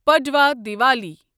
Padwa Diwali